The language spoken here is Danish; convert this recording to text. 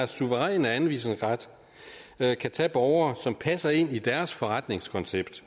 suveræne anvisningsret kan tage borgere som passer ind i deres forretningskoncept